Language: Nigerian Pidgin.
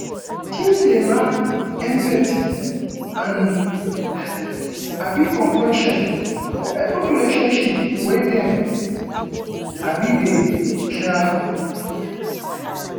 teens dey learn empathy and um compassion for every relationship wey dem um dey um